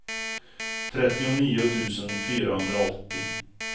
trettionio tusen fyrahundraåttio